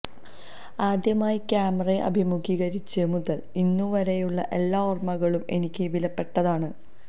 ആദ്യമായി ക്യാമറയെ അഭിമുഖീകരിച്ചത് മുതൽ ഇന്നുവരെയുള്ള എല്ലാ ഓർമ്മകളും എനിക്ക് വിലപ്പെട്ടതാണ്